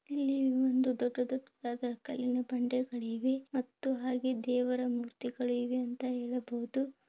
ಇಲ್ಲಿಒಂದು ದೊಡ್ಡ ದೊಡ್ಡದಾದ ಕಲ್ಲಿನ ಬಂಡೆಗಳಿವೆ ಮತ್ತೆ ದೇವರ ಮೂರ್ತಿ ಇದೆ ಎಂದು ಹೇಳಬಹುದು